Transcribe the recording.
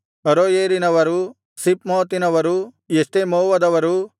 ಅರೋಯೇರಿನವರು ಸಿಪ್ಮೋತಿನವರು ಎಷ್ಟೆಮೋವದವರು